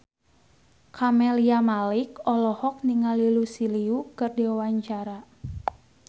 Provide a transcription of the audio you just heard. Camelia Malik olohok ningali Lucy Liu keur diwawancara